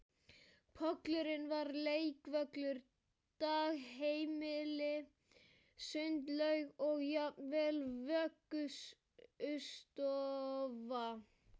Pollurinn var leikvöllur, dagheimili, sundlaug og jafnvel vöggustofa